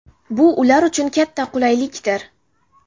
Bu ular uchun katta qulaylikdir.